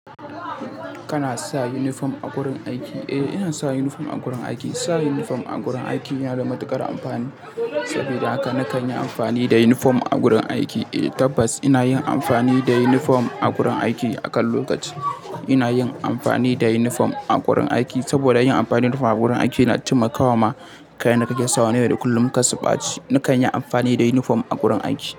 Kana sa uniform a gurin aiki? Eh, ina sa uniform a gurin aiki. Sa uniform a gurin aiki yana da matuƙar amfani. Saboda haka na kan yi amfani da uniform a gurin aiki. Eh tabbas ina yin amfani da uniform a gurin aiki a kan lokaci. Ina yin amfani da uniform a gurin aiki saboda yin amfani da uniform a gurin aiki na taimakawa ma kayan da kake sawa na yau da kullum karsu baci. Na kan yi amfani da uniform a gurin aiki.